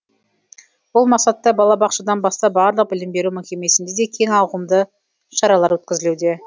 бұл мақсатта балабақшадан бастап барлық білім беру мекемесінде кең ауқымды шаралар өткізілуде